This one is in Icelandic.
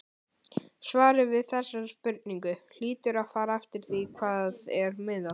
Svarið við þessari spurningu hlýtur að fara eftir því við hvað er miðað.